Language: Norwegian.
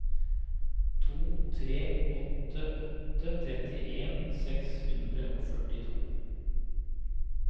to tre åtte åtte trettien seks hundre og førtito